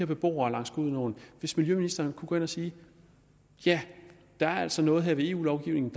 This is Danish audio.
beboere langs gudenåen hvis miljøministeren kunne gå ind og sige ja der er altså noget her ved eu lovgivningen